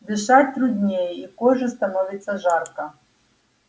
дышать труднее и коже становится жарко